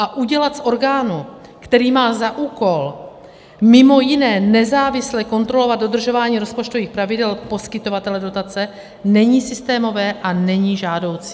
A udělat z orgánu, který má za úkol mimo jiné nezávisle kontrolovat dodržování rozpočtových pravidel poskytovatele dotace, není systémové a není žádoucí.